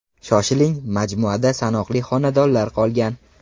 Shoshiling, majmuada sanoqli xonadonlar qolgan.